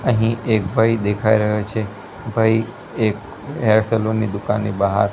અહીં એક ભઈ દેખાય રહ્યો છે ભઈ એક હેર સલૂન ની દુકાનની બહાર--